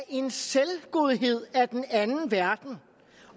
en selvgodhed af den anden verden